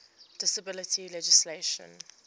disability legislation